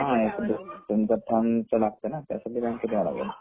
हा तुमच थम लागतो न त्यासाठी बँकेत याव लागेल